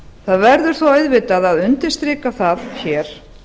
það verður svo auðvitað að undirstrika það hér